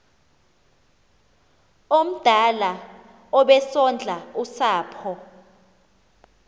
omdala obesondla usapho